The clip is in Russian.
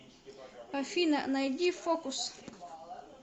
афина найди фокус